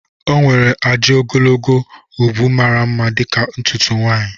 O nwere ajị ogologo ubu mara mma dịka ntutu nwanyị